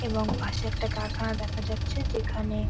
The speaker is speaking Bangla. এবং পাশে একটা কারখানা দেখা যাচ্ছে যেখানে-এ --